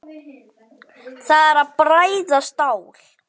Það er að bræða stál.